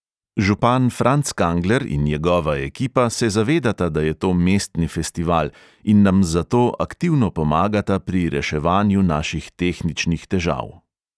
Župan franc kangler in njegova ekipa se zavedata, da je to mestni festival, in nam zato aktivno pomagata pri reševanju naših tehničnih težav.